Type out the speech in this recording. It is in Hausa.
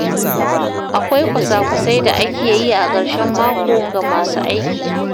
Akwai kwasa-kwasai da ake yi a karshen mako ga masu aiki.